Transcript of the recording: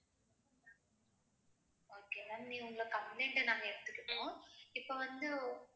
okay ma'am உங்க complaint நாங்க எடுத்துக்கிட்டோம் இப்ப வந்து